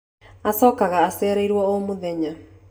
Acokaga acereirwo o mũthenya